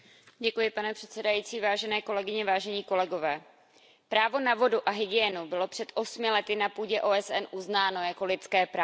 Pane předsedající, vážené kolegyně, vážení kolegové, právo na vodu a hygienu bylo před osmi lety na půdě OSN uznáno jako lidské právo.